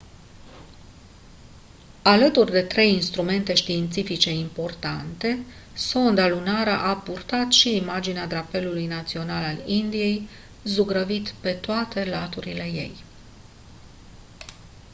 alături de trei instrumente științifice importante sonda lunară a purtat și imaginea drapelului național al indiei zugrăvit pe toate laturile ei